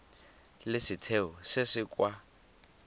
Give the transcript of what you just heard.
le setheo se se kwa